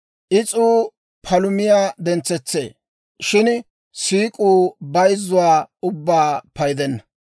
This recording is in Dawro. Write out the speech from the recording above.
Is'uu palumiyaa dentsetsee; shin siik'uu bayzzuwaa ubbaa paydenna.